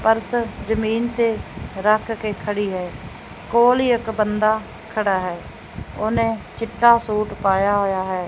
Purse ਜਮੀਨ ਤੇ ਰੱਖ ਕੇ ਖੜੀ ਹੈ ਕੋਲ ਹੀ ਇੱਕ ਬੰਦਾ ਖੜਾ ਹੈ ਉਹਨੇ ਚਿੱਟਾ ਸੂਟ ਪਾਇਆ ਹੋਇਆ ਹੈ।